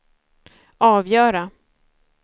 avgöra